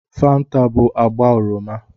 Fanta bụ agba oroma